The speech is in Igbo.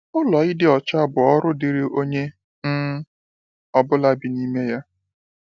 Ụlọ ịdị ọcha bụ ọrụ dịrị onye um ọ bụla bi n’ime ya.